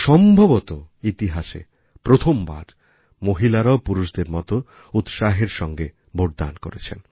সম্ভবত ইতিহাসে প্রথমবার মহিলারাও পুরুষদের মত উৎসাহের সঙ্গে ভোটদান করেছেন